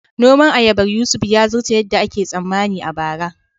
Noman ayabar Yusuf ya zarce yadda ake tsammani a bara